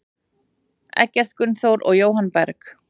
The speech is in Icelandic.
Eggert Gunnþór og Jóhann Berg.